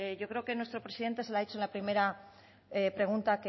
yo creo que nuestro presidente se lo ha dicho en la primera pregunta